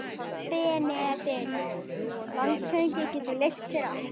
BENEDIKT: Landshöfðingi getur leyft sér allt.